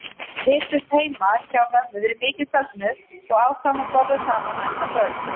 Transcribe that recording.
Við hittumst heima hjá mömmu við mikinn fögnuð og ákváðum að borða saman næsta kvöld.